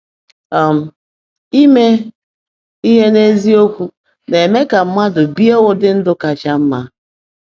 um Ime ihe n’eziokwu na-eme ka mmadụ bie ụdị ndụ kacha mma.